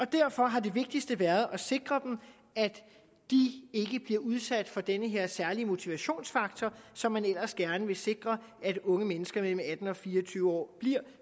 derfor har det vigtigste været at sikre at de ikke bliver udsat for den her særlige motivationsfaktor som man ellers gerne vil sikre at unge mennesker mellem atten og fire og tyve år bliver